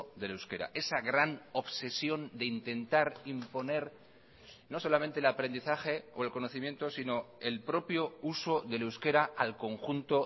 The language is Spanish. del euskera esa gran obsesión de intentar imponer no solamente el aprendizaje o el conocimiento sino el propio uso del euskera al conjunto